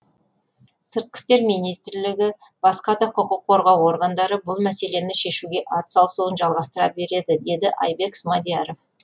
сыртқы істер министрлігі басқа да құқық қорғау органдары бұл мәселені шешуге атсалысуын жалғастыра береді деді айбек смадияров